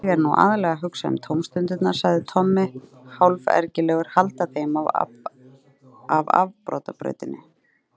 Ég er nú aðallega að hugsa um tómstundirnar, sagði Tommi hálfergilegur, halda þeim af afbrotabrautinni.